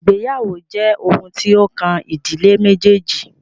Ìgbéyàwó jẹ́ oun tí o kàn ìdílé méjèèjì.